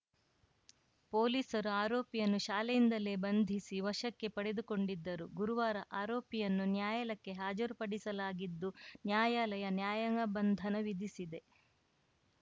ಪೊಲೀಸರು ಆರೋಪಿಯನ್ನು ಶಾಲೆಯಿಂದಲೇ ಬಂಧಿಸಿ ವಶಕ್ಕೆ ಪಡೆದುಕೊಂಡಿದ್ದರು ಗುರುವಾರ ಆರೋಪಿಯನ್ನು ನ್ಯಾಯಾಲಯಕ್ಕೆ ಹಾಜರುಪಡಿಸಲಾಗಿದ್ದು ನ್ಯಾಯಾಲಯ ನ್ಯಾಯಾಂಗ ಬಂಧನ ವಿಧಿಸಿದೆ